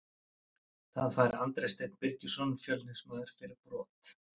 Það fær Andri Steinn Birgisson Fjölnismaður fyrir brot.